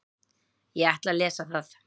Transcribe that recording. Ég ætla að lesa það.